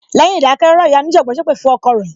Lẹ́yìn ìdákẹ́ rọ́rọ́, ìyá onijanbon sépè fún ọkọ rẹ.